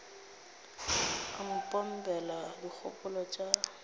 o mo pompela dikgopolo tša